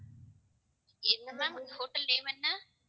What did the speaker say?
என்ன ma'am hotel name என்ன?